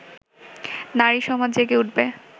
নারী সমাজ জেগে উঠবে